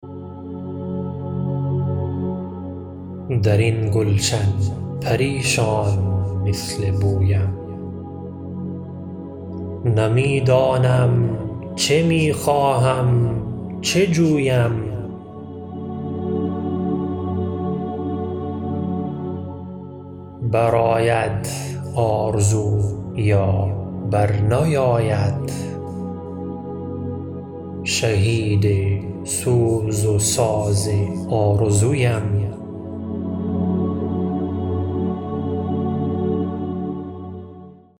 درین گلشن پریشان مثل بویم نمیدانم چه میخواهم چه جویم برآید آرزو یا بر نیاید شهید سوز و ساز آرزویم